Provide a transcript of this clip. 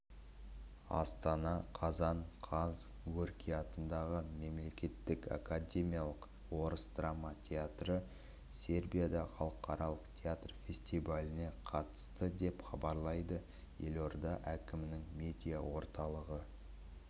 астана қазан қаз горький атындағы мемлекеттік академиялық орыс драма театры сербияда халықаралық театр фестиваліне қатысты деп хабарлайды елорда әкімдігінің медиа орталығы